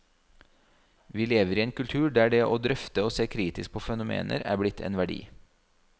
Vi lever i en kultur der det å drøfte og se kritisk på fenomener er blitt en verdi.